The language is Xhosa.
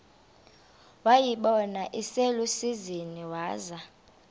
wayibona iselusizini waza